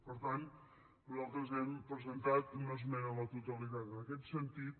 per tant nosaltres hem presentat una esmena a la totalitat en aquest sentit